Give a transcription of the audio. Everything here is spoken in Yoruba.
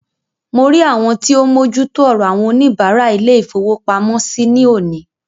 Mo rí àwọn tí o ń mójú tó ọrọ àwọn oníbàárà ilé-ìfowópamọ́sí ní òní.